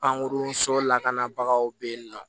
Pankurun so lakanabagaw be yen nɔ